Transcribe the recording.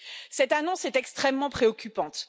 Cette annonce est extrêmement préoccupante.